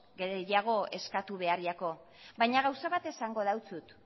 gehiago eskatu behar jako baina gauza bat esango dautsut